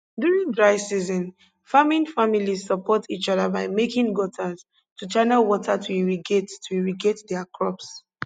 during dry season farming families support each other by making gutters to channel water to irrigate to irrigate their crops